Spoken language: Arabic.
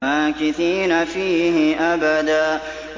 مَّاكِثِينَ فِيهِ أَبَدًا